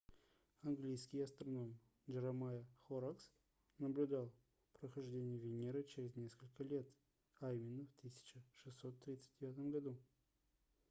английский астроном джеремайя хоррокс jeremiah horrocks наблюдал прохождение венеры через несколько лет а именно в 1639 году